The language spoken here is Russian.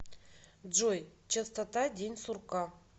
джой частота день сурка